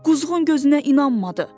Quzğun gözünə inanmadı.